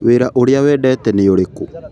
Wĩra ũrĩa wendete nĩ ũrĩkũ?